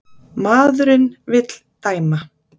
Maðurinn vill dæma.